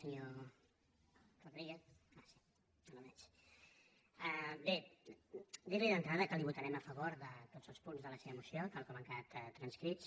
senyor rodríguez bé dir li d’entrada que votarem a favor de tots punts de la seva moció tal com han quedat transcrits